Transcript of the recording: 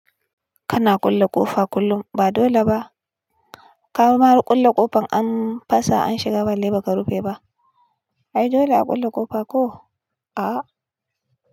Kana kulle ƙofa kullum ba dole ba. Ka ma kulle ƙofan an fasa an shiga balle ba ka rufe ba. Ai dole a ƙulle ƙofa koh? Ahh.